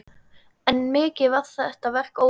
Enn er mikið verk óunnið.